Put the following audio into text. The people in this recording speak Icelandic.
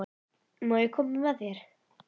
Má ég koma með þér?